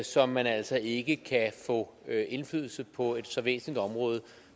så man altså ikke kan få indflydelse på et så væsentligt område